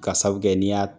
Ka sabu kɛ n'i y'a